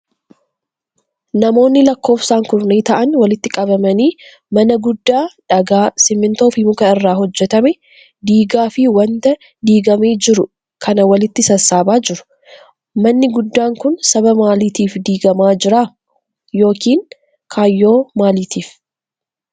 Namoonni lakkoofsaan kurnee ta'an walitti qabamanii mana guddaa dhagaa ,simiintoo fi muka irraa hojjatame, diigaa fi wanta diigamee jiru kana walitti sassaabaa jiru. Manni guddaan kun, sababa maalitiif diigamaa jira yokin kaayyoo maalitiif?